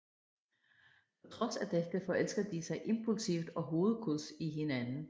På trods af dette forelsker de sig impulsivt og hovedkulds i hinanden